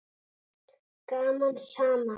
Gaman saman!